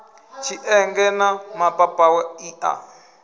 tshienge na mapapawe i a